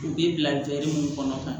U bɛ bila mun kɔnɔ